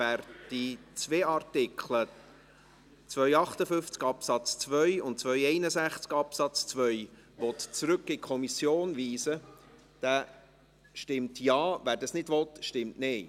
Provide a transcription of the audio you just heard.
Wer die beiden Artikel, Artikel 258 Absatz 2 und Artikel 261 Absatz 2, in die Kommission zurückweisen will, stimmt Ja, wer dies nicht will, stimmt Nein.